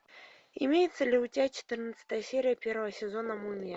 имеется ли у тебя четырнадцатая серия первого сезона мумия